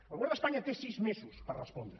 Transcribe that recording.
el govern d’espanya té sis mesos per respondre